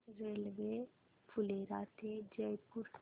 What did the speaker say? railway Phulera ते जयपूर